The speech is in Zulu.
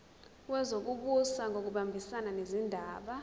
wezokubusa ngokubambisana nezindaba